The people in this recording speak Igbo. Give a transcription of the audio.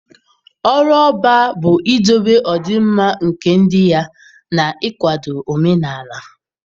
Ọrụ Ọbá bụ idobe ọdịmma nke ndị ya na ịkwado omenala.